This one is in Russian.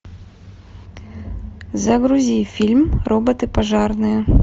загрузи фильм роботы пожарные